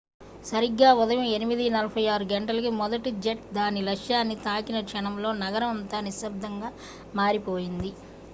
సరిగ్గా ఉదయం 8:46 గంటలకు మొదటి జెట్ దాని లక్ష్యాన్ని తాకిన క్షణంలో నగరం అంతా నిశబ్దంగా మారిపోయింది